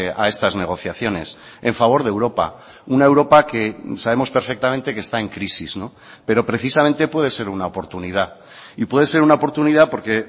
a estas negociaciones en favor de europa una europa que sabemos perfectamente que está en crisis pero precisamente puede ser una oportunidad y puede ser una oportunidad porque